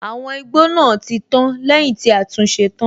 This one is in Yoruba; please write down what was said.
Àwọn igbó náà tí tán lẹ́yìn tí a tún ṣe tán.